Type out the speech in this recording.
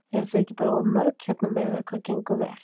Eruð þið ekki bara of mörg hérna miðað við hvað gengur vel?